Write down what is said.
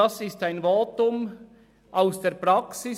Es ist ein Votum aus der Praxis.